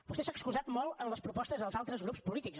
vostè s’ha excusat molt en les propostes dels altres grups polítics